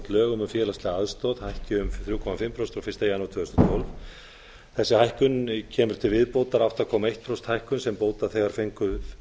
lögum um félagslega aðstoð hækki um þrjú og hálft prósent frá fyrsta janúar tvö þúsund og tólf þessi hækkun kemur til viðbótar átta komma eitt prósent hækkun sem bótaþegar fengu